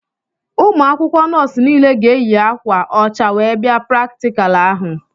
Ụmụ akwụkwọ nọọsụ niile ga-eyi akwa ọcha wee bia praktikal ahụ.